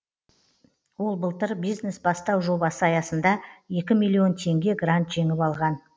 ол былтыр бизнес бастау жобасы аясында екі миллион теңге грант жеңіп алған